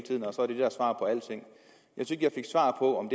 jeg fik svar på